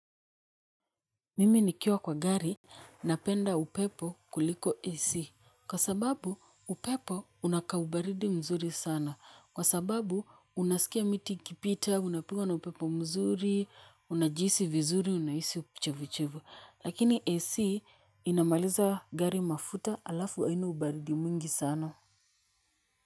Mimi nikiwa kwa gari, napenda upepo kuliko AC, kwa sababu upepo una kaubaridi mzuri sana, kwa sababu unasikia miti ikipita, unapigwa na upepo mzuri, unajihisi vizuri, unahisi uchevuchevu, lakini AC inamaliza gari mafuta alafu haina ubaridi mwingi sana.